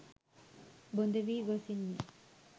බොඳ වී ගොසින්ය.